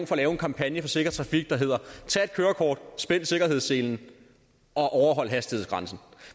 for at lave en kampagne for sikker trafik der hedder tag et kørekort spænd sikkerhedsselen og overhold hastighedsgrænsen